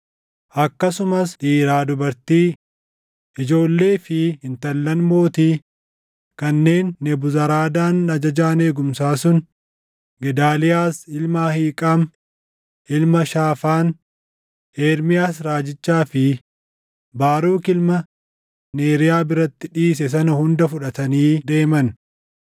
Akkasumas dhiiraa dubartii, ijoollee fi intallan mootii kanneen Nebuzaradaan ajajaan eegumsaa sun Gedaaliyaas ilma Ahiiqaam, ilma Shaafaan, Ermiyaas raajichaa fi Baaruk ilma Neeriyaa biratti dhiise sana hunda fudhatanii deeman.